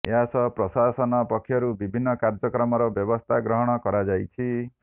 ଏହାସହ ପ୍ରଶାସନ ପକ୍ଷରୁ ବିଭିନ୍ନ କାର୍ଯ୍ଯକ୍ରମର ବ୍ଯବସ୍ଥା ଗ୍ରହଣ କରାଯାଇଛି